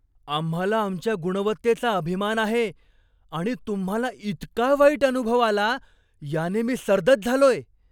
आम्हाला आमच्या गुणवत्तेचा अभिमान आहे आणि तुम्हाला इतका वाईट अनुभव आला याने मी सर्दच झालोय.